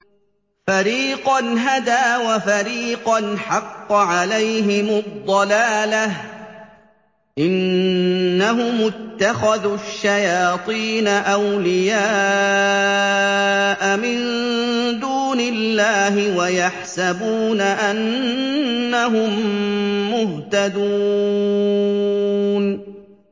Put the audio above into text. فَرِيقًا هَدَىٰ وَفَرِيقًا حَقَّ عَلَيْهِمُ الضَّلَالَةُ ۗ إِنَّهُمُ اتَّخَذُوا الشَّيَاطِينَ أَوْلِيَاءَ مِن دُونِ اللَّهِ وَيَحْسَبُونَ أَنَّهُم مُّهْتَدُونَ